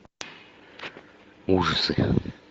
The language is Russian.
ужасы